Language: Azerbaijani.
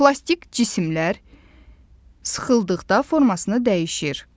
Plastik cisimlər sıxıldıqda formasını dəyişir.